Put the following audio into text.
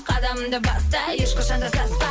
қадамыңды баста ешқашанда саспа